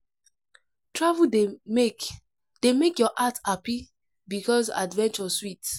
Travel dey make dey make your heart hapi because adventure sweet.